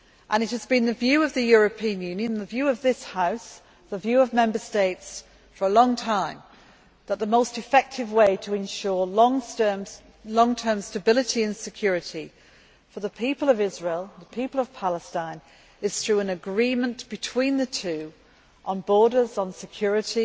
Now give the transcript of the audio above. It has been the view of the European Union, the view of this House and the view of Member States for a long time that the most effective way to ensure long term stability and security for the people of Israel and the people of Palestine is through an agreement between the two on borders, on security,